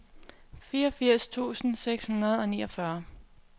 fireogfirs tusind seks hundrede og niogfyrre